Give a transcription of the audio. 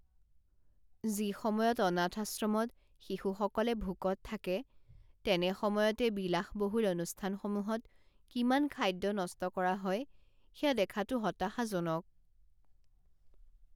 যি সময়ত অনাথ আশ্ৰমত শিশুসকলে ভোকত থাকে তেনে সময়তে বিলাসবহুল অনুষ্ঠানসমূহত কিমান খাদ্য নষ্ট কৰা হয় সেয়া দেখাটো হতাশাজনক